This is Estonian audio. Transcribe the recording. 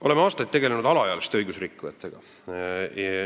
Oleme aastaid tegelenud alaealiste õigusrikkujatega.